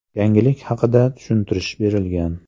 Yangilik haqida tushuntirish berilgan.